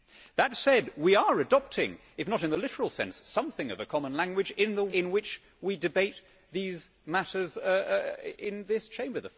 That said, we are adopting, if not in the literal sense, something of a common language in the way in which we debate these matters in this Chamber.